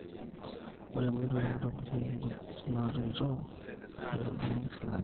ore nkoitoi naitobirieki nkujit natoito aitobirikie silangen